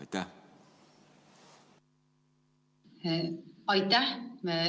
Aitäh!